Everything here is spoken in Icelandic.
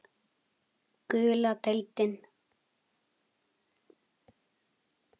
Gula deildin